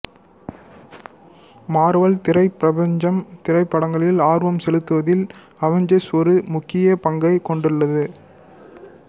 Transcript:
Marvel திரைப் பிரபஞ்சம் திரைப்படங்களில் ஆர்வம் செலுத்துவதில் அவென்ஜர்ஸ் ஒரு முக்கிய பங்கைக் கொண்டுள்ளது